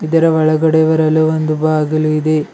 ಇದರ ಒಳಗಡೆ ಬರಲು ಒಂದು ಬಾಗಲು ಇದೆ.